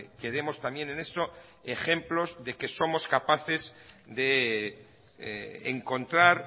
que demos también en eso ejemplos de que somos capaces de encontrar